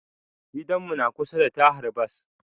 Gidan mu na kusa da tahar Bas